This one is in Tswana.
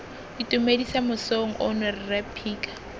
itumedisa mosong ono rre phika